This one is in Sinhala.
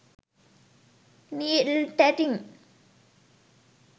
needle tatting